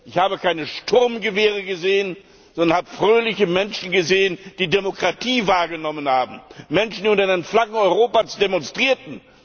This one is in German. Ich habe keine Sturmgewehre gesehen, sondern habe fröhliche Menschen gesehen, die Demokratie wahrgenommen haben, Menschen, die unter den Flaggen Europas demonstrierten.